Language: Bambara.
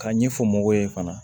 K'a ɲɛfɔ mɔgɔw ye fana